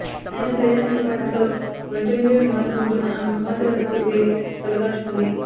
అయినా ప్రయోజనం లేకపోవటంతో బంటుమిల్లిలో నివాసం ఉంటున్న ఆమె కుమార్తె వద్దకు వెళ్లి తలదాచుకుంది